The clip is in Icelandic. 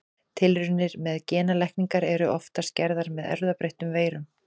Tilraunir með genalækningar eru oftast gerðar með erfðabreyttum veirum.